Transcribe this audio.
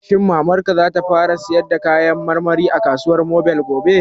Shin Mamar ka za ta fara sayar da kayan marmari a kasuwar mobil gobe?